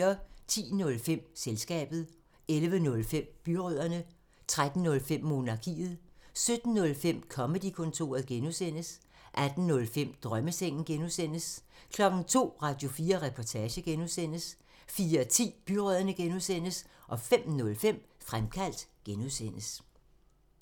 10:05: Selskabet 11:05: Byrødderne 13:05: Monarkiet 17:05: Comedy-kontoret (G) 18:05: Drømmesengen (G) 02:00: Radio4 Reportage (G) 04:10: Byrødderne (G) 05:05: Fremkaldt (G)